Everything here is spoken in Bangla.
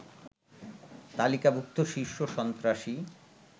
তালিকাভুক্ত শীর্ষ সন্ত্রাসী